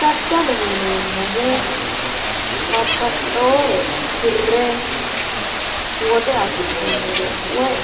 Daddaloho yineemmohu babbaxxewoore hirre woxe afi'nannire woy